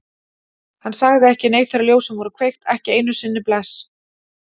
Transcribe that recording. Hann sagði ekki neitt þegar ljósin voru kveikt, ekki einu sinni bless.